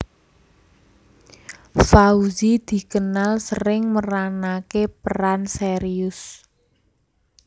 Fauzi dikenal sering meranaké peran serius